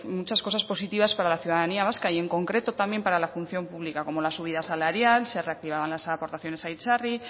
muchas cosas positivas para la ciudadanía vasca y en concreto también para la función pública como la subida salarial se reactivaban las aportaciones a itzarri